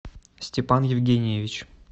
степан евгеньевич